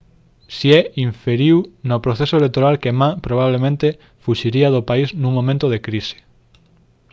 hsieh inferiu no proceso electoral que ma probablemente fuxiría do país nun momento de crise